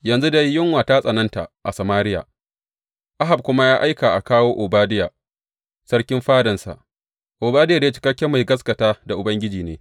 Yanzu dai yunwa ta tsananta a Samariya, Ahab kuma ya aika a kawo Obadiya, sarkin fadansa Obadiya dai cikakken mai gaskata da Ubangiji ne.